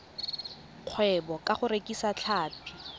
kgwebo ka go rekisa tlhapi